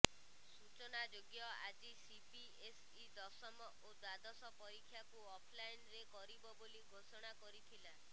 ସୂଚନାଯୋଗ୍ୟ ଆଜି ସିବିଏସଇ ଦଶମ ଓ ଦ୍ବାଦଶ ପରୀକ୍ଷାକୁ ଅଫଲାଇନ୍ରେ କରିବ ବୋଲି ଘୋଷଣା କରିଥିଲା